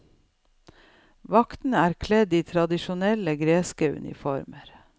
Vaktene er kledd i tradisjonelle greske uniformer.